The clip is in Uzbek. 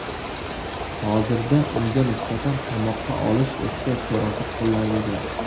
Hozirda unga nisbatan qamoqqa olish ehtiyot chorasi qo‘llanilgan.